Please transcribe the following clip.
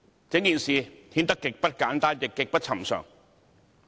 整件事顯得極不簡單，亦極不尋常。